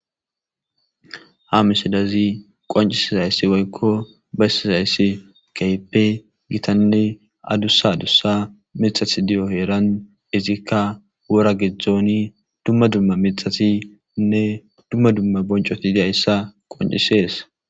Ha misidazi qoncisizayssi boykko beyssizayssi keepe gitanne adussa adussa mixat diyo heeran izikka wora gidzdzooni dumma dumma mixatinne dumma dumma boncoti diyayssa qoncisees.